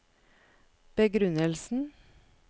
begrunnelsen